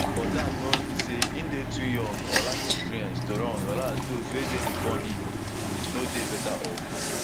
but dat no mean say im dey too young or lack experience to run whereas those wey dey bifor him no dey better of